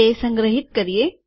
તે સંગ્રહિત કરીએ